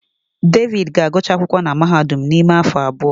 David ga-agụcha akwụkwọ na mahadum n'ime afọ abụọ.